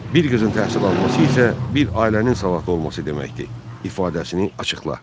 Bir qızın təhsil alması isə bir ailənin savadlı olması deməkdir ifadəsini açıqla.